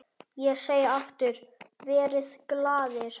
Ég segi aftur: Verið glaðir.